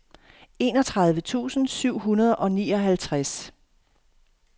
enogtredive tusind syv hundrede og nioghalvtreds